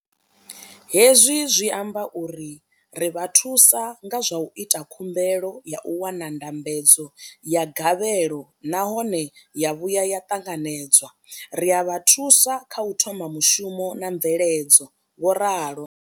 Hezwi zwi amba uri ri vha thusa nga zwa u ita khumbelo ya u wana ndambedzo ya gavhelo nahone ya vhuya ya ṱanganedzwa, ri a vha thusa kha u thoma mushumo na mveledzo, vho ralo.